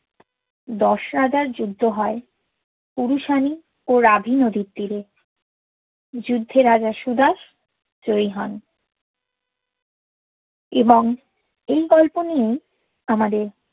দ্শ রাজার যুদ্ধ হ্য় পুরুশানি ও রাভি নদির তিরেযুদ্দে রাজা সুদাস জয়ী হোন এবং এই গোল্পো নিয়েই আমাদের